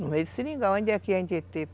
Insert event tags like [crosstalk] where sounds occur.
No meio do Seringal, onde é [unintelligible] que a gente ia ter?